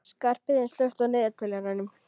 Skarphéðinn, slökktu á niðurteljaranum.